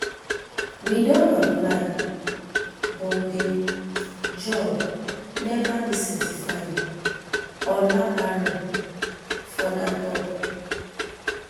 we don apply but di job neva dey certified olaore further tok um